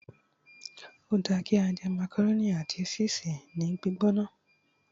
o da ki a je macaroni ati ṣisi ni gbigbona